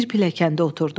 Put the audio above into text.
Bir pilləkəndə oturdu.